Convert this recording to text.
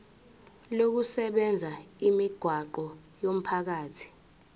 lokusebenzisa imigwaqo yomphakathi